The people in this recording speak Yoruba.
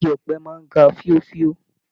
Ìgi ọ̀pẹ máa n ga fíòfíò.